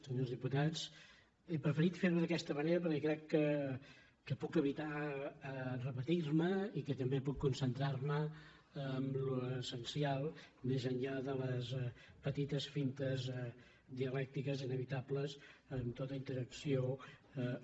senyors diputats he preferit fer·ho d’aquesta manera perquè crec que puc evitar repetir·me i que també puc concentrar·me en l’essencial més enllà de les petites fintes dialècti·ques inevitables en tota interacció un a un